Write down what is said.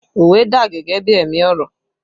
Òwe dà gẹ́gẹ́ bí ẹ̀mí ọ̀rọ̀